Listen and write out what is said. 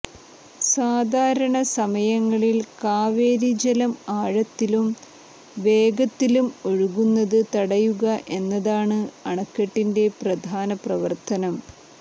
സാധാരണ സമയങ്ങളിൽ കാവേരി ജലം ആഴത്തിലും വേഗത്തിലും ഒഴുകുന്നത് തടയുക എന്നതാണ് അണക്കെട്ടിന്റെ പ്രധാന പ്രവർത്തനം